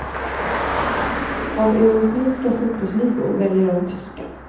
Av europeiska fotbollsligor väljer jag den tyska.